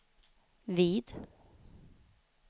vid